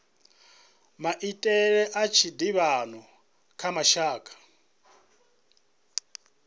maitele a tshiḓivhano kha mashaka